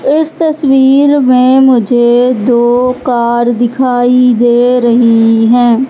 इस तस्वीर में मुझे दो कार दिखाई दे रही है।